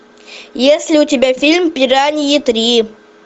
есть ли у тебя фильм пираньи три